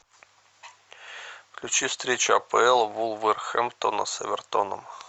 включи встречу апл вулверхэмптона с эвертоном